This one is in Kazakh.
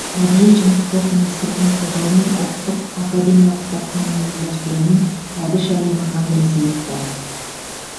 мәдениет және спорт министрлігінің қолдауымен ұлттық академиялық кітапхананың ұйымдастыруымен әбіш әлемі конгресі өтті